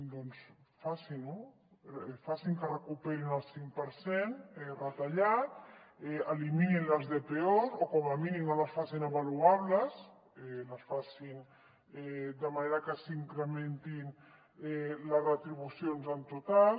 doncs facin ho facin que recuperin el cinc per cent retallat eliminin les dpos o com a mínim no les facin avaluables facin les de manera que s’incrementin les retribucions en total